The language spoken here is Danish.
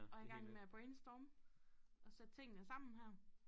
Og i gang med at brainstorme og sætte tingene sammen her